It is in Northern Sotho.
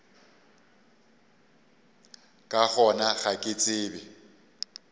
ka gona ga ke tsebe